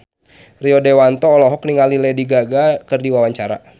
Rio Dewanto olohok ningali Lady Gaga keur diwawancara